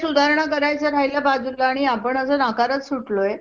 हम्म संस्कृती आणि प्रेरणाला पण